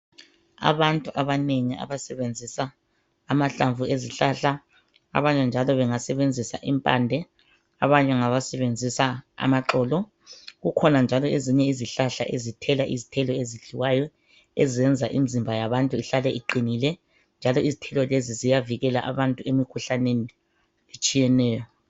Abantu abanengi abasebenzisa amahlamvu ezihlahla abanye njalo bengasebenzisa impande abanye ngabasebenzisa amaxolo kukhona njalo ezinye izihlahla ezithela izithelo ezidliwayo ezenza imizimba yabantu ihlale iqinile njalo izithelo lezi ziyavikela abantu emikhuhlaneni etshiyeneyo